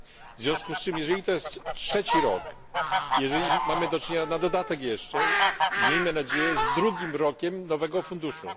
W związku z czym to jest trzeci rok i mamy do czynienia na dodatek jeszcze, miejmy nadzieję, z drugim rokiem nowego funduszu.